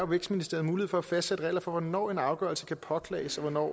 vækstministeren mulighed for at fastsætte regler for hvornår en afgørelse kan påklages og hvornår